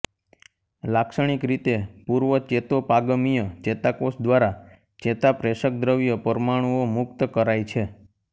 લાક્ષણિક રીતે પૂર્વચેતોપાગમીય ચેતાકોષ દ્વારા ચેતાપ્રેષકદ્રવ્ય પરમાણુઓ મુક્ત કરાય છે